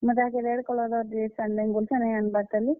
ମୁଇଁ ତାହାକେ red colour ର dress ଆନି ଦେମି ବଲୁଛେଁ, ନେ ଆନ୍ ବାର୍ ତାଲି।